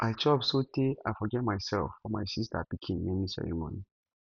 i chop so tey i forget myself for my sister pikin naming ceremony